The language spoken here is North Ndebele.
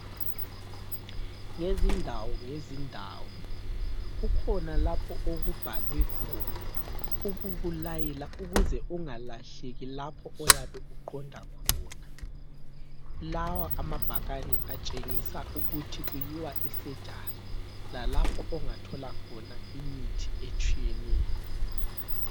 Ngezindawo ngezindawo kukhona lapho okubhalwe khona ukukulayela ukuze ungalahleki lapho oyabe uqonda khona. Lawa amabhakani atshengisa ukuthi kuyiwa esurgery lalapho ongathola khona imithi etshiyeneyo.